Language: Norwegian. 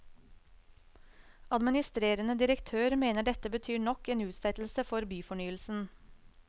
Administrerende direktør mener dette betyr nok en utsettelse for byfornyelsen.